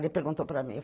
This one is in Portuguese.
Ele perguntou para mim.